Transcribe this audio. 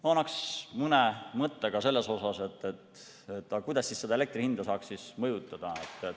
Ma ütlen mõne mõtte ka selle kohta, kuidas elektri hinda saaks mõjutada.